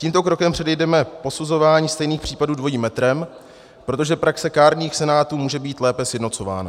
Tímto krokem předejdeme posuzování stejných případů dvojím metrem, protože praxe kárných senátů může být lépe sjednocována.